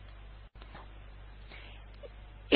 এবার এন্টার টিপলাম